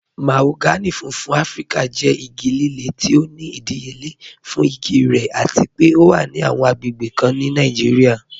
Mahogany fúnfún Afíríkà jẹ́ igi lílẹ̀ tí ó ní ìdíyélé fún igi rẹ̀ àti pé ọ wà ní awọn agbègbè kàn ní Nàìjíríà.